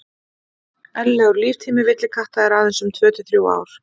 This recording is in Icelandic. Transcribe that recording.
eðlilegur líftími villikatta er aðeins um tvö til þrjú ár